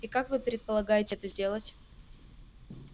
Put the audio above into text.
и как вы предполагаете это сделать